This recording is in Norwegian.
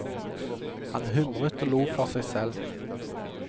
Han humret og lo for seg selv.